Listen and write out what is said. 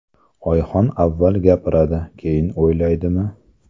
Oyxon avval gapiradi, keyin o‘ylaydimi?